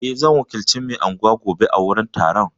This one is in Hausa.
Eh, zan wakilci mai anguwa gobe a wajen taron.